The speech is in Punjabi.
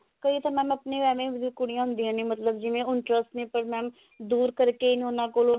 ਕਈ ਤਾਂ mam ਆਪਣੇ ਏਵੇਂ ਦੀਆਂ ਕੁੜੀਆਂ ਹੁੰਦੀਆਂ ਨੇ ਮਤਲਬ ਜਿਵੇਂ interest ਹੈ ਪਰ mam ਦੁਰ ਕਰਕੇ ਉਹਨਾਂ ਕੋਲ